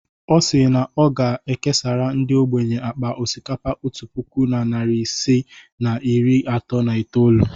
Ọ si na ọ ga-ekesara ndị ogbenye akpa osikapa otu puku na narị isii na iri atọ na itoolu.